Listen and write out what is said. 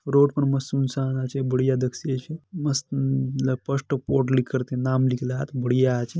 रोड पर मस्त इंसान आचे बडिया दक सी आचे मस्त लक पस्ट पोड लिकर के नाम लिकलात बडिया आचे।